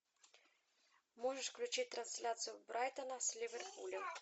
можешь включить трансляцию брайтона с ливерпулем